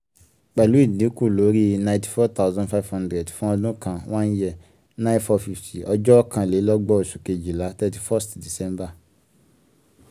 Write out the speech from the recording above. pẹ̀lú ìdínkù lórí inety four thousand five hundred fún ọdún kan one year nine four fifty ọjọ́ ọ̀kanlélọ́gbọ̀n oṣù kejìlá thirty first december.